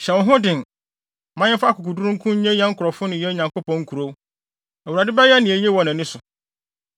Hyɛ wo ho den. Ma yɛmfa akokoduru nko nnye yɛn nkurɔfo ne yɛn Onyankopɔn nkurow. Awurade bɛyɛ nea eye wɔ nʼani so.”